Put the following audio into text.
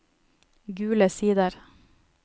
Gule Sider